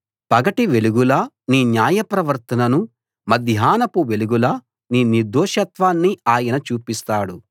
పగటి వెలుగులా నీ న్యాయవర్తననూ మధ్యాహ్నపు వెలుగులా నీ నిర్దోషత్వాన్నీ ఆయన చూపిస్తాడు